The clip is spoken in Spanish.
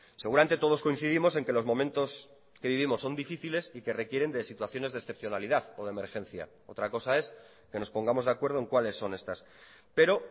seguramente todos coincidimos en que los momentos que vivimos son difíciles y que requieren de situaciones de excepcionalidad o de emergencia otra cosa es que nos pongamos de acuerdo en cuáles son estas pero